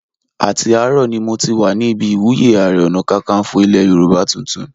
Àti àárọ̀ ni mo ti wà ní ibi ìwúyé Ààrẹ Ọ̀nàkakanfò ilẹ̀ Yorùbá tuntun